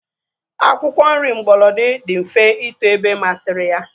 Akwụkwọ nri mgbolodi dị mfe ito ebe masịrị ya